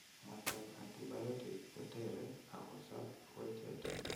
Mwaitab antibiotic koteree akosoob wecheet